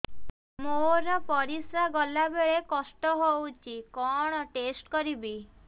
ମୋର ପରିସ୍ରା ଗଲାବେଳେ କଷ୍ଟ ହଉଚି କଣ ଟେଷ୍ଟ କରିବି